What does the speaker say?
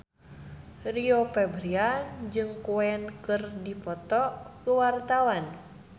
Rio Febrian jeung Queen keur dipoto ku wartawan